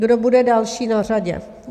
Kdo bude další na řadě?